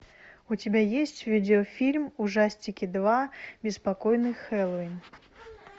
у тебя есть видеофильм ужастики два беспокойный хэллоуин